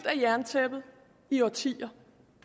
af jerntæppet i årtier